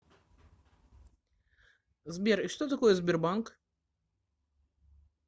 сбер и что такое сбербанк